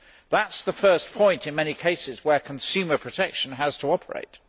That is the first point in many cases where consumer protection has to operate.